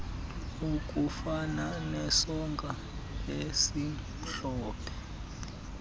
okufana nesonka esimhlophe